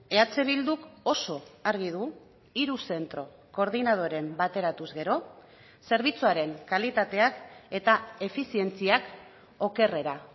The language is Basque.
eh bilduk oso argi du hiru zentro koordinadoren bateratuz gero zerbitzuaren kalitateak eta efizientziak okerrera